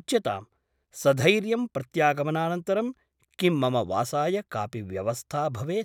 उच्यतां सधैर्यम् प्रत्यागमनानन्तरं किं मम वासाय कापि व्यवस्था भवेत् ?